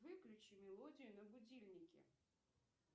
выключи мелодию на будильнике